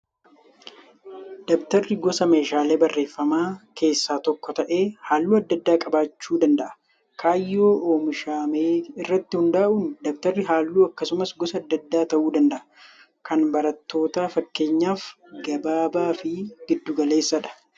Dabtarri gosa meeshaalee barreeffamaa keessaa tokko ta'ee halluu adda addaa qabaachuu danda'a. Kaayyoo oomishamee irratti hundaa'uun dabtarri halluu akkasumas gosa adda addaa ta'uu danda'a. Kan barattootaa fakkeenyaaf gabaabaa fi giddu galeessadha.